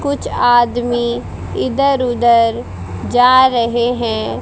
कुछ आदमी इधर उधर जा रहे हैं।